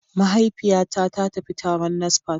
Mahaifiyata ta tafi taron NASFAT